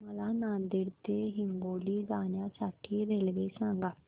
मला नांदेड ते हिंगोली जाण्या साठी रेल्वे सांगा